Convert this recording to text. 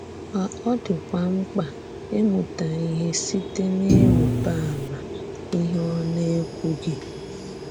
Ma ọ dị́kwà m̀kpà ị̀mùtà íhè sịtè n’ìrìrbà àmà íhè ọ na-ekwùghì.